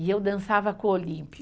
E eu dançava com o Olímpio.